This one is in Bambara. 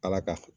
Ala ka h